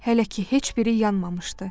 Hələ ki heç biri yanmamışdı.